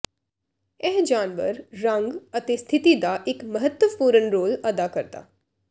ਇਹ ਜਾਨਵਰ ਰੰਗ ਅਤੇ ਸਥਿਤੀ ਦਾ ਇੱਕ ਮਹੱਤਵਪੂਰਨ ਰੋਲ ਅਦਾ ਕਰਦਾ